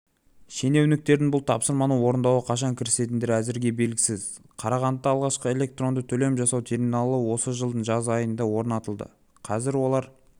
шенеуніктердің бұл тапсырманы орындауға қашан кірісетіндері әзірге белгісіз қарағандыда алғашқы электронды төлем жасау терминалы осы жылдың жаз айында орнатылды қазір олар